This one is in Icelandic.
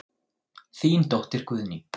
Þín dóttir Guðný.